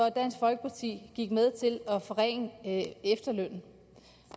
at dansk folkeparti til gik med til at forringe